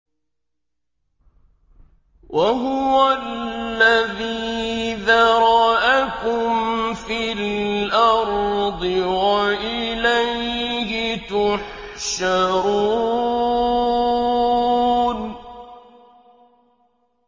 وَهُوَ الَّذِي ذَرَأَكُمْ فِي الْأَرْضِ وَإِلَيْهِ تُحْشَرُونَ